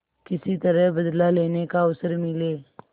किसी तरह बदला लेने का अवसर मिले